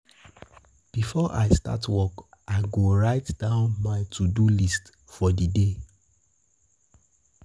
Before I start work, I go write down my to-do list for di day.